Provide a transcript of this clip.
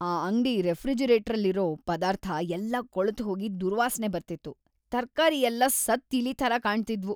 ಆ ಅಂಗ್ಡಿ ರೆಫ್ರಿಜರೇಟ್ರಲ್ಲಿರೋ ಪದಾರ್ಥ ಎಲ್ಲ ಕೊಳ್ತ್‌ ಹೋಗಿ ದುರ್ವಾಸ್ನೆ ಬರ್ತಿತ್ತು.. ತರ್ಕಾರಿ ಎಲ್ಲ ಸತ್ತ್‌ ಇಲಿ ಥರ ಕಾಣ್ತಿದ್ವು.